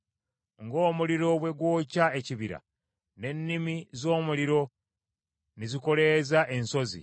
Ng’omuliro bwe gwokya ekibira; n’ennimi z’omuliro ne zikoleeza ensozi,